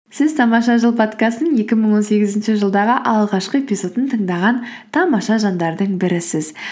сіз тамаша жыл подкасттың екі мың он сегізінші жылдағы алғашқы эпизодын тыңдаған тамаша жандардың бірісіз